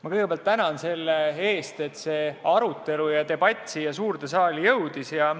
Ma kõigepealt tänan selle eest, et see arutelu, debatt siia suurde saali jõudis.